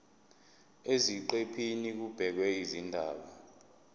eziqephini kubhekwe izindaba